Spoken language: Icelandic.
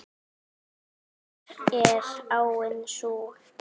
Hver er áin sú?